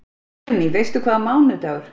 Guðný: Veistu hvaða mánaðardagur?